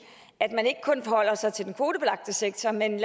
at man ikke kun holder sig til den kvotebelagte sektor men